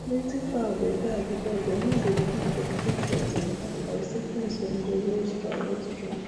plenty fowl dey die because dem no dey give them treatment on time or sickness control no strong no strong